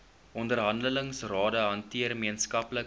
onderhandelingsrade hanteer gemeenskaplike